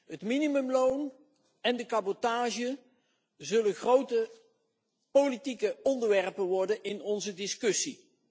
Het minimumloon en de cabotage zullen grote politieke onderwerpen worden in onze discussie.